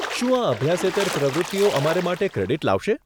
શું આ અભ્યાસેતર પ્રવૃત્તિઓ અમારે માટે ક્રેડીટ લાવશે?